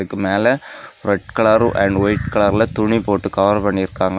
அதுக்கு மேல red colour and white கலர்ல துணி போட்டு கவர் பண்ணி இருக்காங்க.